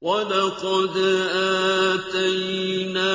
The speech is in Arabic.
وَلَقَدْ آتَيْنَا